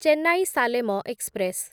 Chennai Salem express